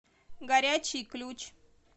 горячий ключ